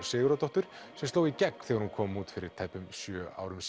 Sigurðardóttur sem sló í gegn þegar hún kom út fyrir tæpum sjö árum